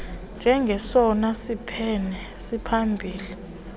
njengesona siphene siphambili